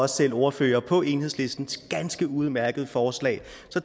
selv var ordfører på enhedslistens ganske udmærkede forslag